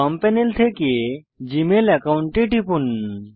বাম প্যানেল থেকে Gmail account এ টিপুন